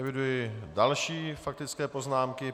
Eviduji další faktické poznámky.